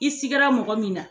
I sikira mɔgɔ min na